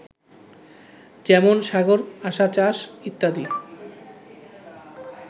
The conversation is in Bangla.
যেমন সাগর, আসা, চাষ, ইত্যাদি